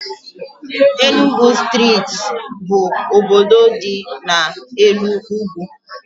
Enugu steeti bụ obodo dị n' elu ugwu